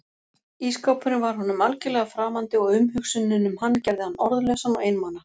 Ísskápurinn var honum algjörlega framandi og umhugsunin um hann gerði hann orðlausan og einmana.